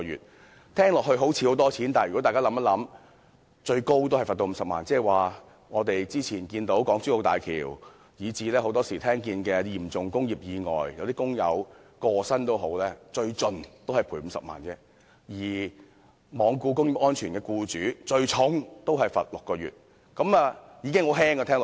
這聽起來好像很多錢，但如果大家想想，最高罰款只是50萬元，這即是說之前我們看到港珠澳大橋的意外，以至很多時候聽到的嚴重工業意外，即使有工友身亡，最高也只是賠償50萬元，而對於罔顧工業安全的僱主，最重也只是監禁6個月。